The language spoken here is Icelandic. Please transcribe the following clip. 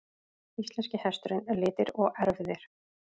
Íslenski hesturinn- litir og erfðir.